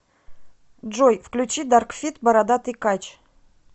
джой включи дарк фит бородатый кач